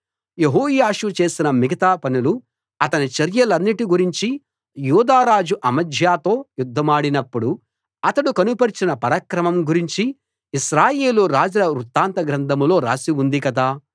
యెహోయాషు చేసిన మిగతా పనులు అతని చర్యలన్నిటి గురించీ యూదా రాజు అమజ్యాతో యుద్ధమాడినప్పుడు అతడు కనుపరచిన పరాక్రమం గూర్చి ఇశ్రాయేలు రాజుల వృత్తాంత గ్రంథంలో రాసి ఉంది కదా